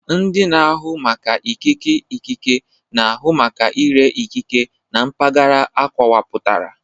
Ndị na-ahụ maka ikike ikike na-ahụ maka ire ikike na mpaghara akọwapụtara